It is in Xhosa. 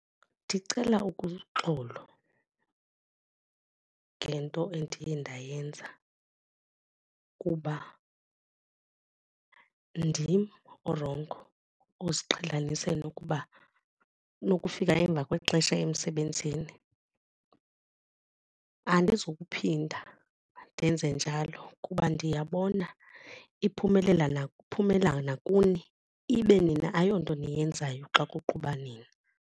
Ndicela xolo ngento endiye ndayenza kuba ndim orongo oziqhelanise nokuba nokufika emva kwexesha emsebenzini. Andizukuphinda ndenze njalo kuba ndiyabona iphumelela iphumela nakuni ibe nina ayonto niyenzayo xa kuqhuba nina.